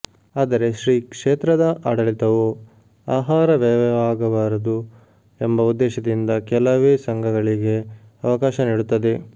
ಆದರೆ ಶ್ರೀ ಕ್ಷೇತ್ರದ ಆಡಳಿತವು ಆಹಾರ ವ್ಯಯವಾಗಬಾರದು ಎಂಬ ಉದ್ದೇಶದಿಂದ ಕೆಲವೇ ಸಂಘಗಳಿಗೆ ಅವಕಾಶ ನೀಡುತ್ತದೆ